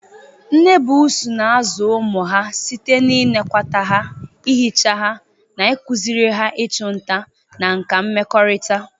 Nne buusu na-azụ ụmụ ha site n'ịnekwata ha, ihicha ha, na ịkụziri ha ịchụ nta na nkà mmekọrịta.